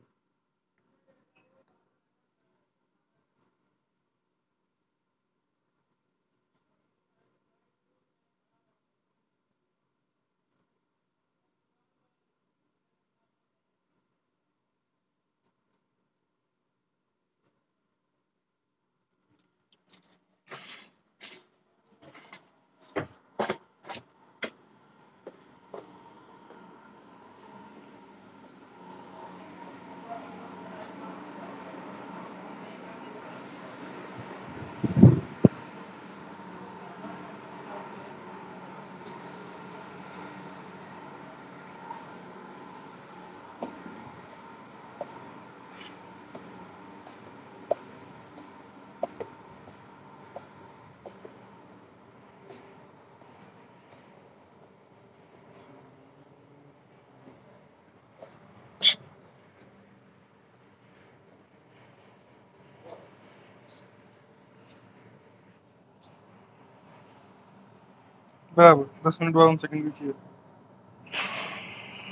હા હસન ભાઈ શકીલ છે